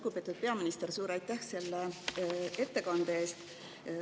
Lugupeetud peaminister, suur aitäh selle ettekande eest!